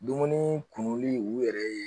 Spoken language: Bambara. Dumuni kumuni u yɛrɛ ye